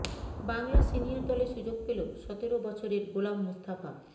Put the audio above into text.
Bangla senior দলে সুযোগ পেল সতেরো বছরের গোলাম মুস্তাফা